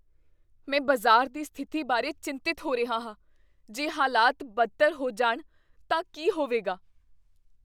ਮੈਂ ਬਾਜ਼ਾਰ ਦੀ ਸਥਿਤੀ ਬਾਰੇ ਚਿੰਤਤ ਹੋ ਰਿਹਾ ਹਾਂ। ਜੇ ਹਾਲਾਤ ਬਦਤਰ ਹੋ ਜਾਣ ਤਾਂ ਕੀ ਹੋਵੇਗਾ?